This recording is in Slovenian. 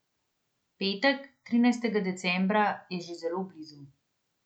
Petek, trinajstega decembra, je že zelo blizu.